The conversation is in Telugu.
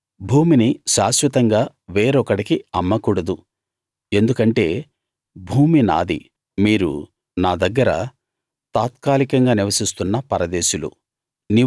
భూమిని శాశ్వతంగా వేరొకడికి అమ్మకూడదు ఎందుకంటే భూమి నాది మీరు నా దగ్గర తాత్కాలికంగా నివసిస్తున్న పరదేశులు